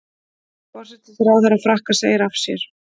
Forsætisráðherra Frakka segir af sér